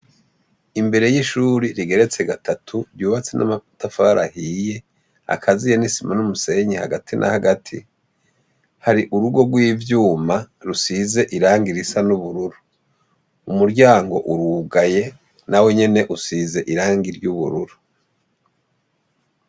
Imbere y'ishuri rigeretse gatatu ryubatse n'amatafari ahiye akaziye n'isima n'umusenyi hagati na hagati, hari urugo rw'ivyuma rusize irangi risa n'ubururu; umuryango urugaye nawo nyene usize irangi ry'ubururu.